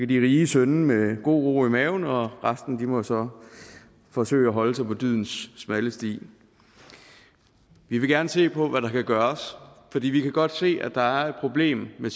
de rige synde med god ro i maven og resten må så forsøge at holde sig på dydens smalle sti vi vil gerne se på hvad der kan gøres fordi vi godt kan se at der er et problem med